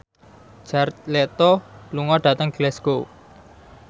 Jared Leto lunga dhateng Glasgow